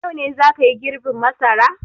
Yau ne za ka yi girbin masara!